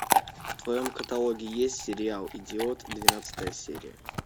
в твоем каталоге есть сериал идиот двенадцатая серия